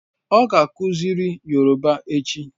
Ọ ga-akuziri Yoruba echi